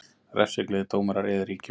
Refsigleði dómara réði ríkjum